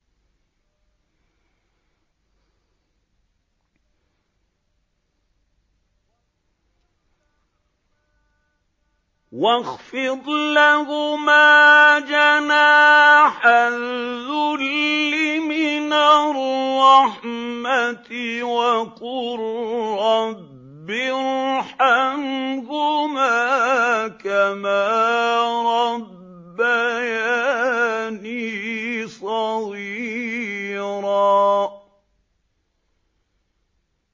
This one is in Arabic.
وَاخْفِضْ لَهُمَا جَنَاحَ الذُّلِّ مِنَ الرَّحْمَةِ وَقُل رَّبِّ ارْحَمْهُمَا كَمَا رَبَّيَانِي صَغِيرًا